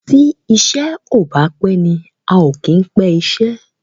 tí iṣé o bá pé ní ào kí pé iṣé.